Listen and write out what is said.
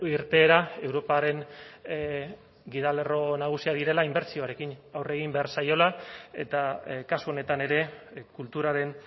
irteera europaren gidalerro nagusiak direla inbertsioarekin aurre egin behar zaiola eta kasu honetan ere kulturaren